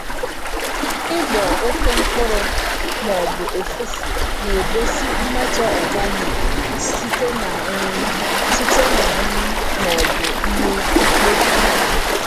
Ịgbọ oke mkpụrụ ma ọ bụ ụfụfụ na-egosi mmetọ organic site na nri site na nri ma ọ bụ ihe mkpofu.